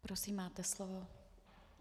Prosím, máte slovo.